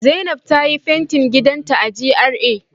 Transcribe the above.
Zainab ta yi fentin gidanta a GRA